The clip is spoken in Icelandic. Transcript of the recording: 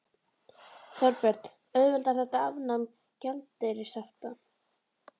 Þorbjörn: Auðveldar þetta afnám gjaldeyrishafta?